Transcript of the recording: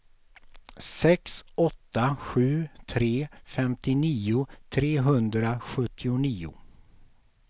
sex åtta sju tre femtionio trehundrasjuttionio